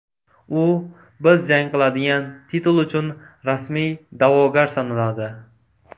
U biz jang qiladigan titul uchun rasmiy da’vogar sanaladi.